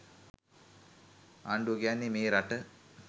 ආණ්ඩුව කියන්නේ මේ රට